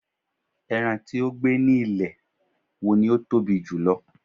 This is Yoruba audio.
eran ti o gbe ni ilẹ̀ wo ni o Tobi jùlọ